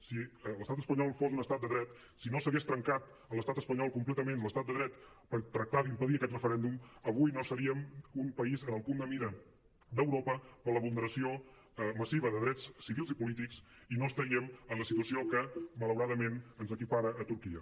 si l’estat espanyol fos un estat de dret si no s’hagués trencat a l’estat espanyol completament l’estat de dret per tractar d’impedir aquest referèndum avui no seríem un país en el punt de mira d’europa per la vulneració massiva de drets civils i polítics i no estaríem en la situació que malauradament ens equipara a turquia